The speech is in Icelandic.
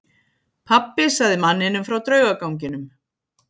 Pabbi sagði manninum frá draugaganginum.